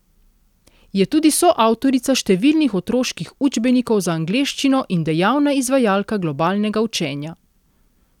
Je tudi soavtorica številnih otroških učbenikov za angleščino in dejavna izvajalka globalnega učenja.